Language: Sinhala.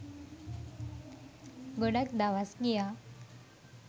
ගොඩක් දවස් ගියා.